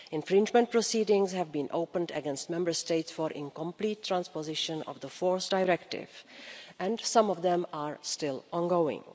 Infringement proceedings have been opened against Member States for incomplete transposition of the Fourth Directive and some of them are still ongoing.